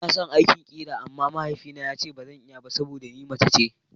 Ina son aikin ƙera amma mahaifina yace bazan iya ba saboda ni mace ce.